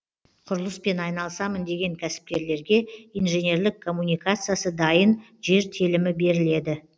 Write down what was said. құрылыспен айналысамын деген кәсіпкерлерге инженерлік коммуникациясы дайын жер телімі беріледі